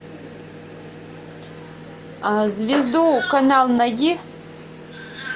звезду канал найди